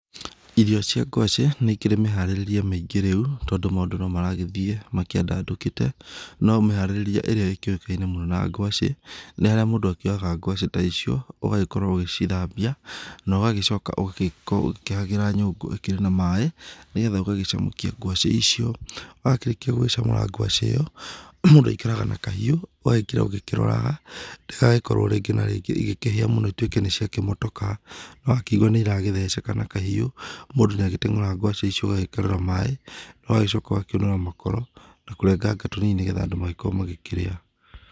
Irio cia ngwacĩ nĩ ikĩrĩ mĩharirĩrie mĩingĩ rĩu, tondũ maũndũ no marathiĩ makĩandandũkĩte. No ũmĩharĩrĩrie ĩrĩa ĩkĩũĩkaine mũno na ngwacĩ, nĩ haría mũndũ akĩoyaga ngwacĩ ta icio, ũgagĩkorwo ũgicithambia na ũgacoka ũgakorwo ũkĩhagĩra nyũngũ ĩríkĩrĩ na maĩ nĩgetha ũgagĩcamũkia ngwacĩ icio. Wakĩrĩkia gucamũra ngwacĩ ĩyo, mũndũ aikaraga na kahiũ, ũgaikara ũkĩroraga ndĩgagĩkorwo rĩngĩ na rĩngĩ igĩkĩhĩa mũno ituĩke niciakĩmotoka. Wakĩigua nĩ iratheceka na kahiu, mũndũ niagĩteng'ũraga ngwacĩ icio, agagĩkerũra maĩ, ũgacoka ũgakĩũnũra makoro, na kũrenganga tũnini nĩgetha andũ magĩkorwo makĩrĩa.